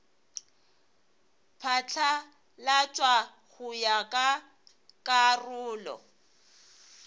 phatlalatšwa go ya ka karolo